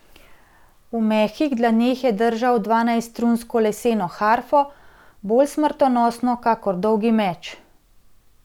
V mehkih dlaneh je držal dvanajststrunsko leseno harfo, bolj smrtonosno kakor dolgi meč.